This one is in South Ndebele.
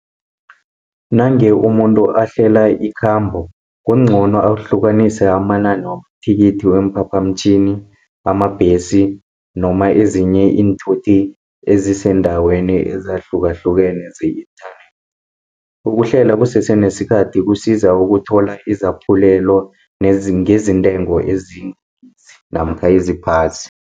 Nange umuntu ahlela ikhambo kuncono ahlukanise amanani wamathikithi, weemphaphamtjhini, wamabhesi noma ezinye iinthuthi ezisendaweni ezahlukahlukene ze-internet. Ukuhlela kusese nesikhathi kusiza ukuthola izaphulelo ngezintengo namkha eziphasi.